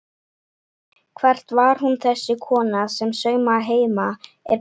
Hver var hún þessi kona sem saumaði heima er best?